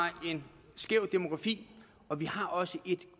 en skæv demografi og vi har også et